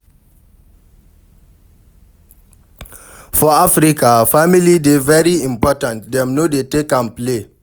For Africa, family dey very important, dem no dey take am play